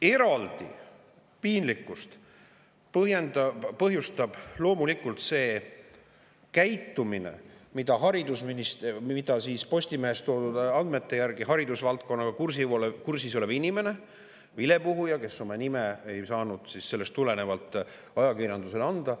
Eriti põhjustab piinlikkust loomulikult see käitumine, millest Postimehes toodud andmete järgi rääkis haridusvaldkonnaga kursis olev inimene, vilepuhuja, kes oma nime ei saanud ajakirjandusele avaldada.